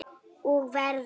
Og verður.